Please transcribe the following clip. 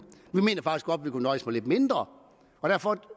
vi kunne nøjes med lidt mindre derfor